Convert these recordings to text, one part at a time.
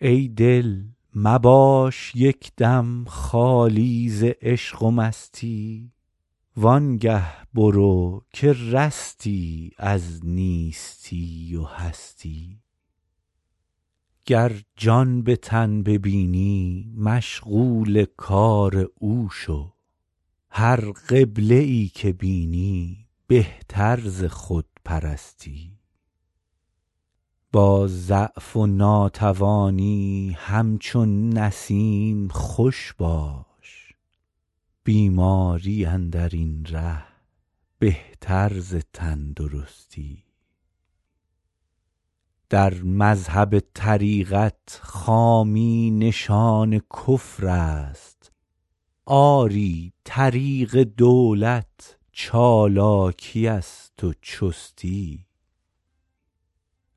ای دل مباش یک دم خالی ز عشق و مستی وان گه برو که رستی از نیستی و هستی گر جان به تن ببینی مشغول کار او شو هر قبله ای که بینی بهتر ز خودپرستی با ضعف و ناتوانی همچون نسیم خوش باش بیماری اندر این ره بهتر ز تندرستی در مذهب طریقت خامی نشان کفر است آری طریق دولت چالاکی است و چستی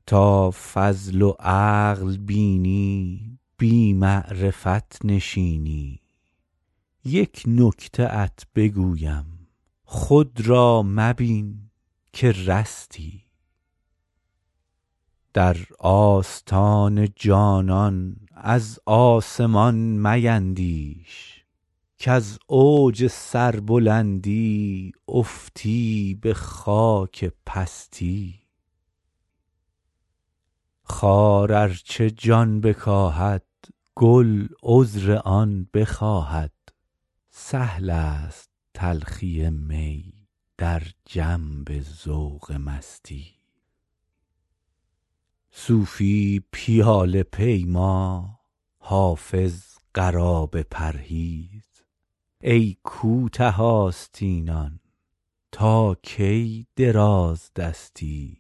تا فضل و عقل بینی بی معرفت نشینی یک نکته ات بگویم خود را مبین که رستی در آستان جانان از آسمان میندیش کز اوج سربلندی افتی به خاک پستی خار ار چه جان بکاهد گل عذر آن بخواهد سهل است تلخی می در جنب ذوق مستی صوفی پیاله پیما حافظ قرابه پرهیز ای کوته آستینان تا کی درازدستی